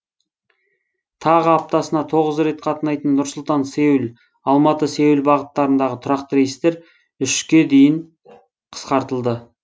тағы аптасына тоғыз рет қатынайтын нұр сұлтан сеул алматы сеул бағыттарындағы тұрақты рейстер үшке дейін қысқартылды